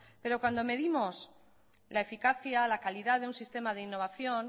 pero cuando medimos la eficacia la calidad de un sistema de innovación